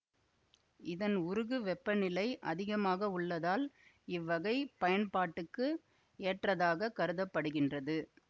இதன் உருகு வெப்பநிலை அதிகமாக உள்ளதால் இவ்வகை பயன்பாட்டுக்கு ஏற்றாதாகக் கருத படுகின்றது